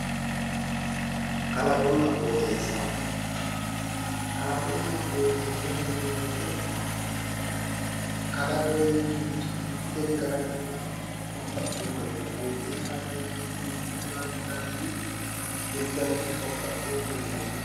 Kalaaqonna qooxeessa yineemmo woyiite kalaqoho yineemmorichi babbaxewo gariini qooxeessaho yineemmo woyiite, mittu dargii wolu dargi baxxewo qooxeessi no yaate.